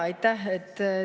Aitäh!